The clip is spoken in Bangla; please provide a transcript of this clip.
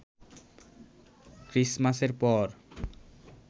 খ্রিসমাসের পর